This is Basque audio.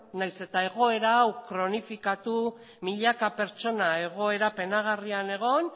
beno nahiz eta egoera hau kronifikatu milaka pertsona egoera penagarrian egon